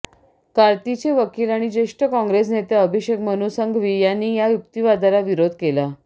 कार्तींचे वकील आणि ज्येष्ठ काँग्रेस नेते अभिषेक मनू संघवी यांनी या युक्तीवादाला विरोध केला